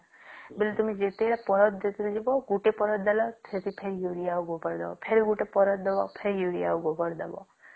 ବୋଲେ ତମେ ଯେତେ ଟା ପାରଦ ଦେଲ ଗୋଟେ ପାରଦ ଦେଲ ସେଠି ପୁଣି ୟୁରିଆ ଆଉ ଗୋବର ଦବ ଫେର ଗୋପଟେ ପାରଦ ଦବ ଫେର ୟୁରିଆ ଆଉ ଗୋବର ଦବ